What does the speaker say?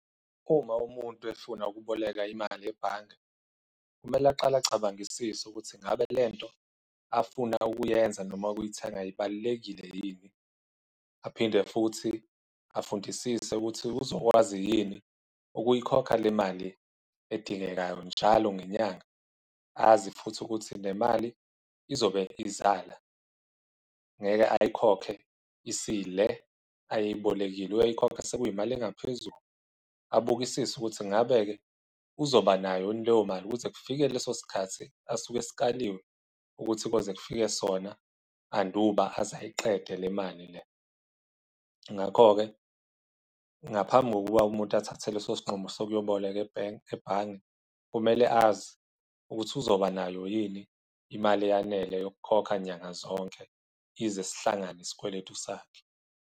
Uma umuntu efuna ukuboleka imali ebhange, kumele aqale acabangisise ukuthi ngabe lento afuna ukuyenza noma ukuyithenga ibalulekile yini, aphinde futhi afundisisa ukuthi uzokwazi yini ukuyikhokha le mali edingekayo njalo ngenyanga, azi futhi ukuthi le mali izobe izala, ngeke ayikhokhe isile ayeyibolekile. Uyoyikhokha sekuyimali engaphezulu, abukisisa ukuthi ngabe-ke uzoba nayo yini leyo mali ukuthi kufike leso sikhathi asuke esikaliwe ukuthi kuyoze kufike sona anduba aze ayiqede le mali le. Ngakho-ke, ngaphambi kokuba umuntu athathe leso sinqumo sokuyoboleka ebhange, kumele azi ukuthi uzobanayo yini imali eyanele yokukhokha nyanga zonke, ize sihlangane isikweletu sakhe.